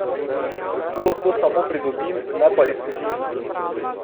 Tu lahko samo pridobim, ne pa izgubim.